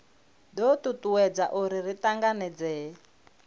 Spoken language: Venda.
do tutuwedza uri ri tanganedzee